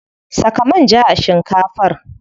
Saka manja a shinkafar.